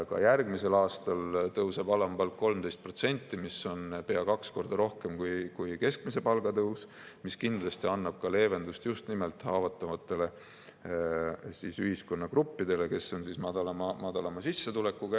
Ka järgmisel aastal tõuseb alampalk 13%, mis on pea kaks korda rohkem kui keskmise palga tõus, mis kindlasti annab ka leevendust just nimelt haavatavatele ühiskonnagruppidele, kes on madalama sissetulekuga.